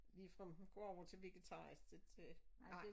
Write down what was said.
Ligefrem at gå over til vegetarisk det det nej